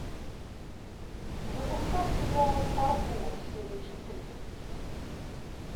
запускай сериал фарго серия четыре